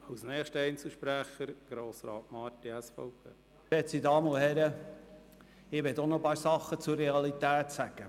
Ich möchte auch noch einige Dinge zur Realität sagen.